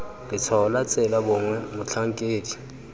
letshwao la tsela gongwe motlhankedi